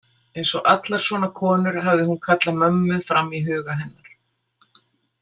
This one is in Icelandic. Eins og allar svona konur hafði hún kallað mömmu fram í huga hennar.